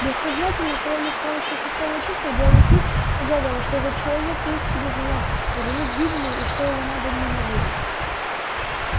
бессознательно словно с помощью шестого чувства белый клык угадывал что этот человек таит в себе зло грозит гибелью и что его надо ненавидеть